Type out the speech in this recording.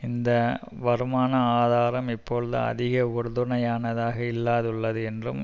இந்த வருமான ஆதாரம் இப்பொழுது அதிக உறுதுனையானதாக இல்லாதுள்ளது என்றும்